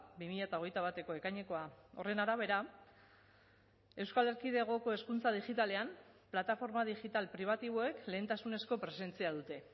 bi mila hogeita bateko ekainekoa horren arabera euskal erkidegoko hezkuntza digitalean plataforma digital pribatiboek lehentasunezko presentzia dute